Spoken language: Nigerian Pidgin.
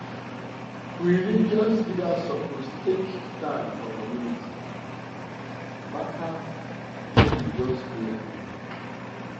um religious um leaders suppose take stand for community um matter no be just prayer